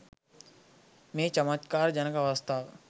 මේ චමත්කාර ජනක අවස්ථාව